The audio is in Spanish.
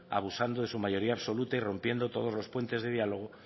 abusando de su mayoría absoluta y rompiendo todos los puentes de diálogo